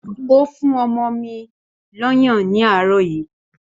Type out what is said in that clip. Ó fún ọmọ mi lọ́yàn ní àárọ̀ yìí